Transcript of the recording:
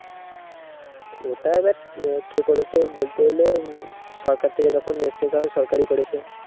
ওটা এবার কে করেছে বলতে গেলে হম সরকার থেকে যখন এসেছে তখন সরকারই করেছে